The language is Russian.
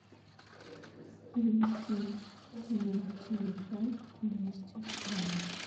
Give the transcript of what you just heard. перевести на телефон двести рублей